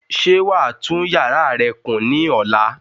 Ṣé wàá tún yàrá rẹ kùn ní ọ̀la?